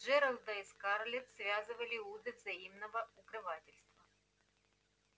джералда и скарлетт связывали узы взаимного укрывательства